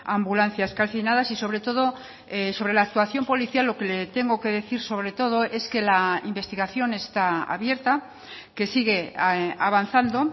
ambulancias calcinadas y sobre todo sobre la actuación policial lo que le tengo que decir sobre todo es que la investigación está abierta que sigue avanzando